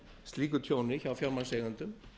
slíku tjóni hjá fjármagnseigendum